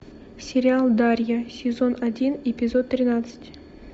сериал дарья сезон один эпизод тринадцать